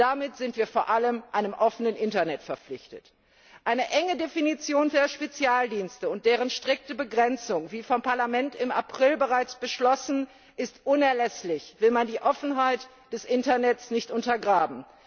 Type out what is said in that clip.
Damit sind wir vor allem einem offenen Internet verpflichtet. Eine enge Definition der Spezialdienste und deren strikte Begrenzung, wie vom Parlament im April bereits beschlossen, ist unerlässlich, will man die Offenheit des Internets nicht untergraben.